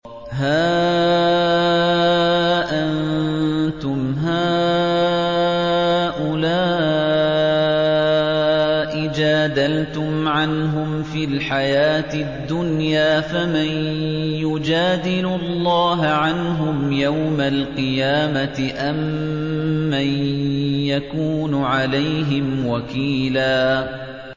هَا أَنتُمْ هَٰؤُلَاءِ جَادَلْتُمْ عَنْهُمْ فِي الْحَيَاةِ الدُّنْيَا فَمَن يُجَادِلُ اللَّهَ عَنْهُمْ يَوْمَ الْقِيَامَةِ أَم مَّن يَكُونُ عَلَيْهِمْ وَكِيلًا